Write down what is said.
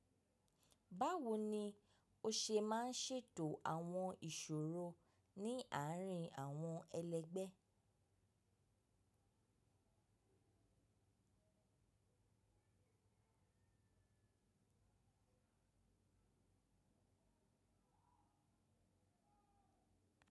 Báwo ni o ṣe máa ń ṣètò àwọn ìṣòro ní àárín àwọn ẹlẹgbẹ́?